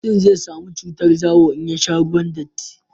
mutum zai samu cutar zawo in ya sha ruwan datti